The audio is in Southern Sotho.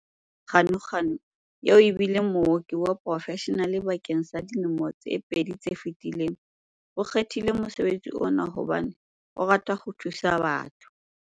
Ganuganu, eo e bileng mooki wa porofeshenale bakeng sa dilemo tse pedi tse fetileng, o kgethile mosebetsi ona hobane o rata ho thusa batho.